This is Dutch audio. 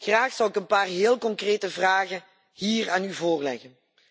Graag zou ik een paar heel concrete vragen aan u voorleggen.